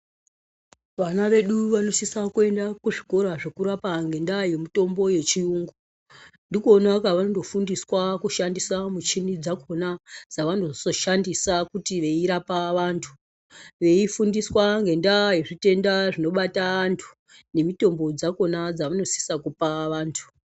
Vana vedu vanosisa kuenda kuzvikora zvekurapa ngendaa yemutombo vechiyungu. Ndikona kwavanondofundiswa kushandisa michini dzakona dzavanozoshandisa kuti veirapa vantu. Veifundiswa ngendaa yezvitenda zvinobata antu nemitombo dzakona dzamunosisa kupa antu.